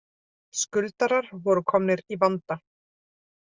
Skuldarar voru komnir í vanda